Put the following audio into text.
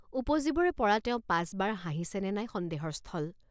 উপজিবৰে পৰা তেওঁ পাঁচ বাৰ হাঁহিছে নে নাই সন্দেহৰ স্থল।